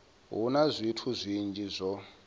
hu na zwithu zwinzhi zwo